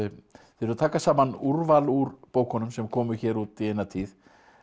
þið eruð að taka saman úrval úr bókunum sem komu hér út í eina tíð